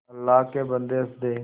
अल्लाह के बन्दे हंस दे